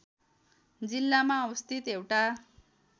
जिल्लामा अवस्थित एउटा